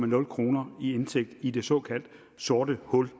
nul kroner i indtægt i det såkaldte sorte hul